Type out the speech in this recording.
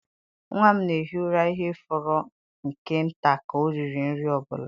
Nwa m na-ehi ụra ihe fọrọ nke nta ka ọ riri nri ọ bụla.